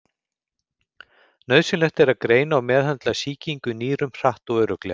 Nauðsynlegt er að greina og meðhöndla sýkingu í nýrum hratt og örugglega.